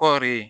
Kɔɔri ye